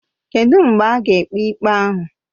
Kedụ mgbe a ga-ekpe ikpe ahụ?